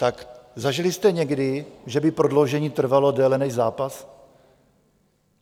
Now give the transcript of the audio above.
Tak zažili jste někdy, že by prodloužení trvalo déle než zápas?